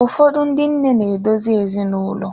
Ụfọdụ ndị nne na-edozi ezinaụlọ.